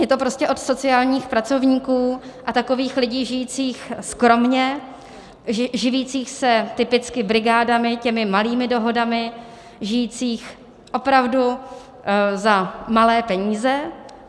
Je to prostě od sociálních pracovníků a takových lidí žijících skromně, živících se typicky brigádami, těmi malými dohodami, žijících opravdu za malé peníze.